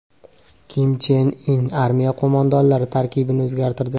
Kim Chen In armiya qo‘mondonlari tarkibini o‘zgartirdi.